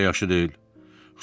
Bu heç də yaxşı deyil.